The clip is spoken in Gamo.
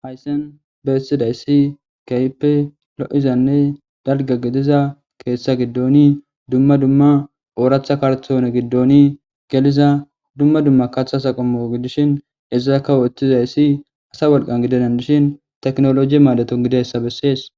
Hayssen beessidayssi kayppe lo7izanne dalga gediza keeththa giddooni dumma dumma ooratha karthone giddooni geliza dumma dumma kathasaqamo gidishin ezazakawo eththizayssi asa wolqan gidedan dishin teknoloji maadeton gideyssa bessees